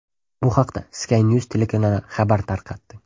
Bu haqda Sky News telekanali xabar tarqatdi.